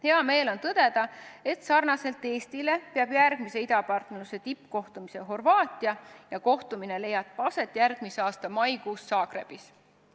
Hea meel on tõdeda, et sarnaselt Eestiga korraldab järgmise idapartnerluse tippkohtumise Horvaatia ja see leiab aset järgmise aasta maikuus Zagrebis.